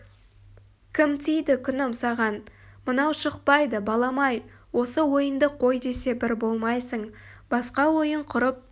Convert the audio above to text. кім тиді күнім саған мынау шықпайды балам-ай осы ойынды қой десе бір болмайсың басқа ойын құрып